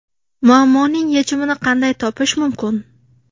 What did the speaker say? Muammoning yechimini qanday topish mumkin?